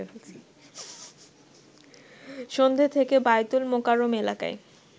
সন্ধ্যে থেকে বায়তুল মোকাররম এলাকায়